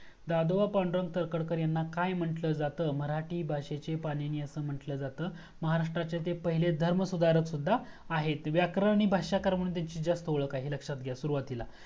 दादोबा पांडुरंग तरखडकर ह्यांना काय म्हणून म्हंटलं जातं मराठी भाषेचे पानिणी अस म्हंटलं जातं महाराष्ट्रचे ते पहिले धर्म सुधारक सुद्धा आहेतं व्याकरणी भाषाकार म्हणून जास्त ओळख आहे लक्ष्यात घ्या सुरूवातीला